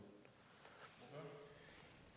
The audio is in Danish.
det